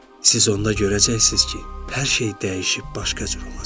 Siz onda görəcəksiniz ki, hər şey dəyişib başqa cür olacaq.